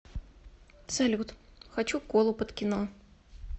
салют хочу колу под кино